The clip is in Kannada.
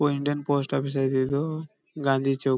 ಇಂಡಿಯನ್ ಪೋಸ್ಟ್ ಆಫೀಸ್ ಐಯ್ತ್ ಇದು. ಗಾಂಧಿ ಚೌಕ್ --